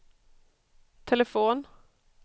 telefon